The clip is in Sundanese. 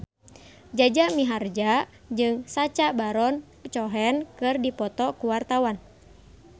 Jaja Mihardja jeung Sacha Baron Cohen keur dipoto ku wartawan